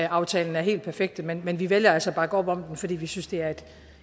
aftalen er helt perfekte men men vi vælger altså at bakke op om den fordi vi synes det er